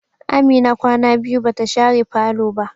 Amina kwana biyu bata share falo ba.